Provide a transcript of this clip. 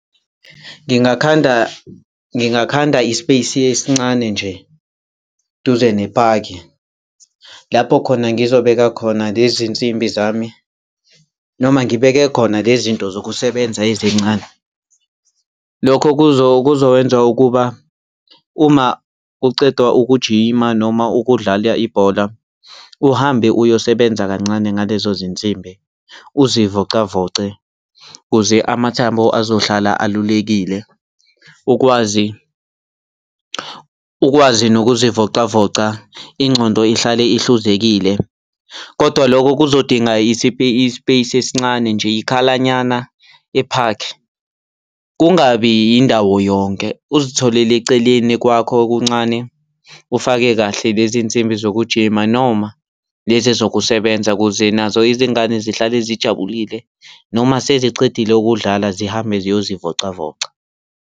Ngingakhanda, ngingakhanda i-space esincane nje duze nepaki lapho khona ngizobeka khona lezi nsimbi zami noma ngibeke khona lezinto zokusebenza ezincane. Lokho kuzokwenza ukuba, uma kucedwa ukujima noma ukudlala ibhola, uhambe uyosebenza kancane ngalezo zinsimbi uzivocavoce kuze amathambo azohlala alulekile, ukwazi ukwazi nokuzivocavoca ingcondo ihlale ihluzekile. Kodwa lokho kuzodinga i-space esincane nje, ikhalanyana ephakhi. Kungabi yindawo yonke uzitholele eceleni kwakho okuncane, ufake kahle lezinsimbi zokujima noma lezi ezokusebenza ukuze nazo izingane zihlale zijabulile. Noma sesicedile ukudlala zihambe ziyozivocavoca.